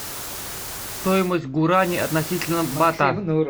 стоимость гуарани относительно бата